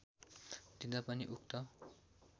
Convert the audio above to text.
दिँदा पनि उक्त